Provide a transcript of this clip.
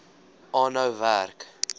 aanhou werk